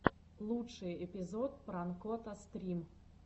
лучший эпизод пранкота стрим